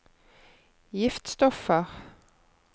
giftstoffer